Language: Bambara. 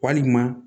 Walima